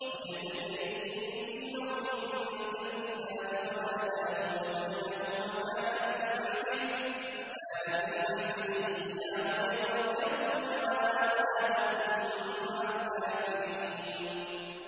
وَهِيَ تَجْرِي بِهِمْ فِي مَوْجٍ كَالْجِبَالِ وَنَادَىٰ نُوحٌ ابْنَهُ وَكَانَ فِي مَعْزِلٍ يَا بُنَيَّ ارْكَب مَّعَنَا وَلَا تَكُن مَّعَ الْكَافِرِينَ